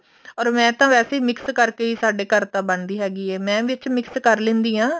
or ਮੈਂ ਤਾਂ ਵੈਸੇ ਵੀ mix ਕਰਕੇ ਹੀ ਸਾਡੇ ਘਰ ਤਾਂ ਬਣਦੀ ਹੈਗੀ ਹੈ ਮੈਂ ਵਿੱਚ mix ਕਰ ਲੈਣੀ ਹਾਂ